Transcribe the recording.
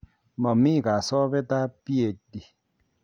Momi kasobeet ab PD